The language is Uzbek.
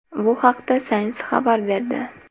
Bu haqda Science xabar berdi .